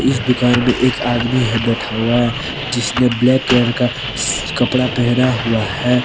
इस दुकान में एक आदमी है बैठा हुआ है जिसने ब्लैक कलर का कपड़ा पहना हुआ है।